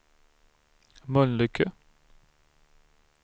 Mölnlycke